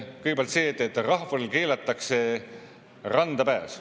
Kõigepealt see, et rahvale keelatakse randa pääs.